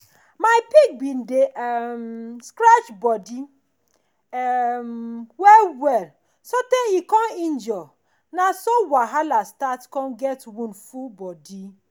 my pig been dey um scratch body um well well so tey e come injure na so wahala start come get wound full body